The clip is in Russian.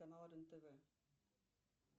канал рен тв